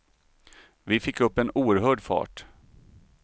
Vi fick upp en oerhörd fart.